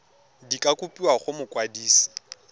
di ka kopiwa go mokwadise